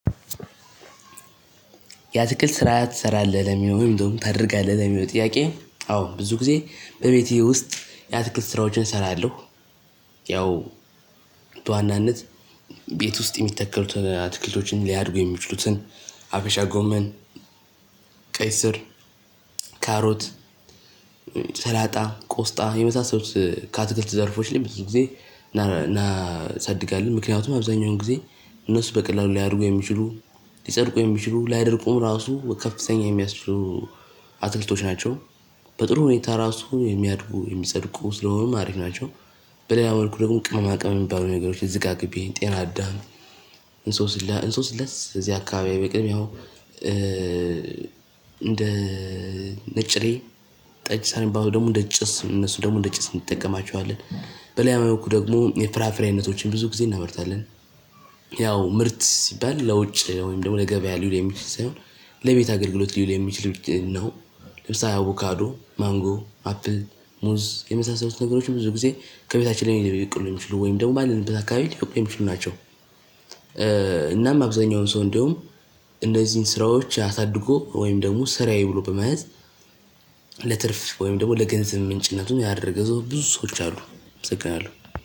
ያትክልት ስራ ትሰራለህ ለሚለው ወይም ደግሞ ታደርጋለህ ለሚለውን ጥያቄ አዎ ብዙ ጊዜ በቤቴ ውስጥ ያትክልት ስራዎችን እሰራለሁ። ያው በዋናነት ቤት ውስጥ የሚተከሉትን አትክልቶችን ሊያድጉ የሚችሉትን አበሻ ጎመን ቀይ ስር ካሮት ሰላጣ ቆስጣ የመሳሰሉት ከአትክልት ዘርፎች ላይ ብዙ ጊዜ እናሳድጋለን ምክንያቱም አብዛኛውን ጊዜ እነሱ በቀላሉ ሊያደርጉ የሚችሉ ሊጸድቁ የሚችሉ ላይደርቁም ራሱ ከፍተኛ የሚያስችሉ አትክልቶች ናቸው በጥሩ ሁኔታ ራሱ የሚያድጉ የሚጸድቁ ስለሆነም አሪፍ ናቸው። በሌላ መልኩ ደግሞ ቅመማቅመም የሚባሉ ነገሮች ዝቃቅቤ ጤናዳም እንሶስላስ እዚህ አካባቢ አይበቅልም። ያው እንደ ነጭሬ ጠጅ ሳር የሚባሉት ደግሞ እንደ ጭስ እነሱን ደግሞ ጭስ እንጠቀማቸዋለን። በሌላ መልኩ ደግሞ የፍራፍሬ አይነቶችን ብዙ ጊዜ እናመርታለን። ያው ምርት ሲባል ለዉጭ ወይም ለገበያ የሚውል ሳይሆን ለቤት አገልግሎት የሚውል ነው። ለምሳሌ አቮካዶ ማንጎ አፕል ሙዝ የመሳሰሉት ነገሮች ብዙ ጊዜ ከቤታችን ላይ ሊበቅሉ የሚችሉ ወይም ደግሞ ባለንበት አካባቢ ሊበቅሉ የሚችሉ ናቸው። እናም አብዛኛውን ሰው እንደውም እነዚህን ስራዎች አሳድጎ ወይም ደግሞ ሰራየ ብሎ በመያዝ ለትርፍ ወይም ደግሞ ለገንዘብ ምንጭነቱን ያደረገ ሰው ብዙ ሰዎች አሉ። እሰግናለሁ።